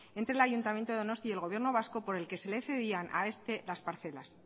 entre el ayuntamiento de donosti y el gobierno vasco por el que se le cedían a este las parcelas